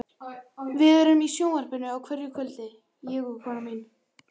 Við erum í sjónvarpinu á hverju kvöldi, ég og konan mín.